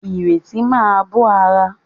Ìrètí máa bó ara.